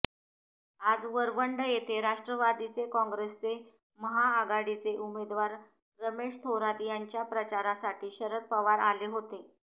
आज वरवंड येथे राष्ट्रवादीचे कॉंग्रेसचे महाआघाडीचे उमेदवार रमेश थोरात यांच्या प्रचारासाठी शरद पवार आले होते